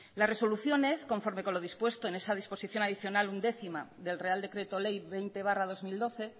las resoluciones conforme con lo dispuesto en esa disposición adicional undécima del real decreto ley veinte barra dos mil doce